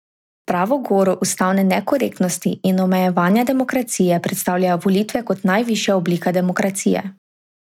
Pravo goro ustavne nekorektnosti in omejevanja demokracije predstavljajo volitve kot najvišja oblika demokracije.